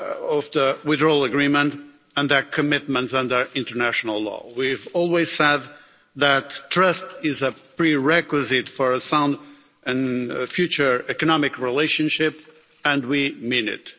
of the withdrawal agreement, and their commitments under international law. We've always said that trust is a prerequisite for a sound and future economic relationship, and we mean it.